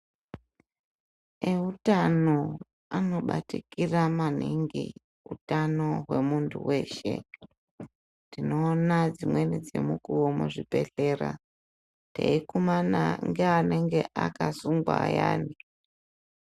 Eutano anobatikira maningi utano hwemuntu weshe. Tinoona dzimweni dzemukuwo muzvibhedhlera eikumana ngeanenge akasungwa ayani.